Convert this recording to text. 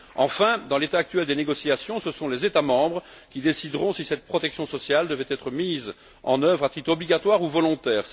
Enfin, dans l'état actuel des négociations, ce sont les États membres qui décideront si cette protection sociale devrait être mise en œuvre à titre obligatoire ou volontaire.